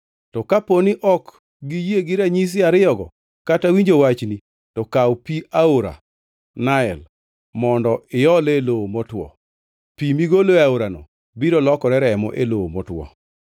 To kapo ni ok giyie gi ranyisi ariyogo kata winjo wachni, to kaw pi mar aora Nael, kendo iole e lowo motwo. Pi migolo e aorano biro lokore remo e lowo motwo.”